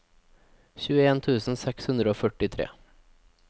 tjueen tusen seks hundre og førtitre